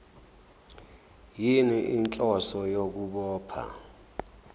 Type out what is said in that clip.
yini inhloso yokubopha